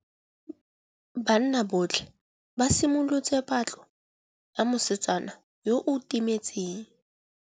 Banna botlhê ba simolotse patlô ya mosetsana yo o timetseng.